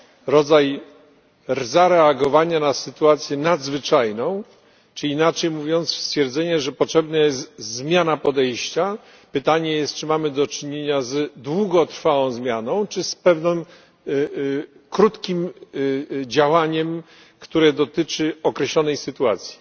rodzaj zareagowania na sytuację nadzwyczajną, czyli, inaczej mówiąc, stwierdzenie, że potrzebna jest zmiana podejścia pytanie jest, czy mamy do czynienia z długotrwałą zmianą, czy z pewnym krótkim działaniem, które dotyczy określonej sytuacji.